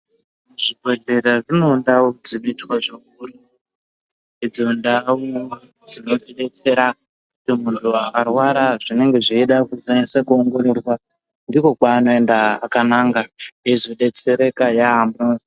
Zvibhedhlera zvinoda kusipitwa zvakanaka. Ndidzo ntau dzinotibetsera kuti muntu arwara zvinenge zveida anyasoongororwa, ndiko kwaanoenda akananga eyizobetsereka yaamho.